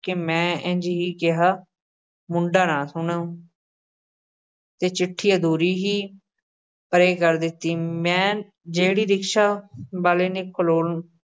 ਕੇ ਮੈਂ ਇੰਞ ਹੀ ਕਿਹਾ ਮੁੰਡਾ ਨਾ ਸੁਣੇ ਤੇ ਚਿੱਠੀ ਅਧੂਰੀ ਹੀ ਪਰ੍ਹੇ ਕਰ ਦਿੱਤੀ, ਮੈਂ ਜਿਹੜੀ ਰਿਕਸ਼ਾ ਵਾਲੇ ਨੇ ਖਲੋਣ